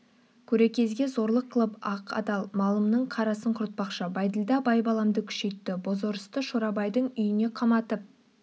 көре кезге зорлық қылып ақ адал малымның қарасын құртпақшы бәйділда байбаламды күшейтті бозорысты шорабайдың үйіне қаматып